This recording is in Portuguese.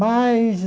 Mas...